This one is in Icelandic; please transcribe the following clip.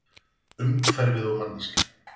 Umhverfið og manneskjan.